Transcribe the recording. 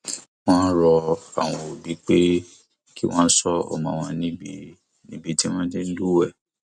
wọn rọ àwọn òbí pé kí wọn ṣọ ọmọ wọn níbi níbi tí wọn ti ń lúwẹé